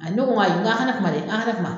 ne ko n ko n k'aw ka na kuma dɛ k'aw ka na kuma